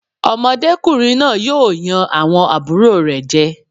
Ọmọdékùnrin náà yóò yan àwọn àbúrò rẹ̀ jẹ.